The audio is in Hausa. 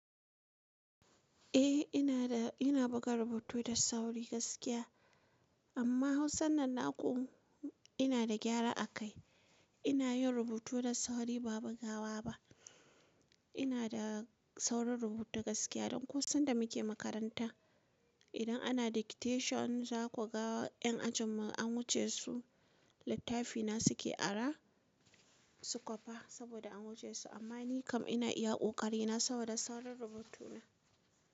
Eh, ina da, ina buga rubutu da sauri gaskiya. Amma Hausan nan naƙu ina da gyara a kai. Ina yin rubutu da sauri ba bugawa ba. Ina da saurin rubutu gaskiya don ko sanda muke makaranta idan ana dictation za ku ga ƴan ajinmu an wuce su, littafina suke ara su kwapa saboda an wuce su. Amma ni kam ina iya ƙoƙari na saboda saurin rubutuna.